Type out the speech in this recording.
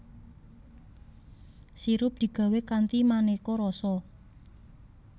Sirup digawé kanthi manéka rasa